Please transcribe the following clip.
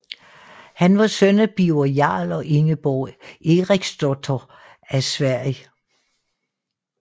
Han var søn af Birger Jarl og Ingeborg Eriksdotter af Sverige